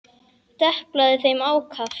Deplaði þeim ákaft.